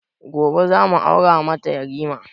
Gobe za mu aura mata yarima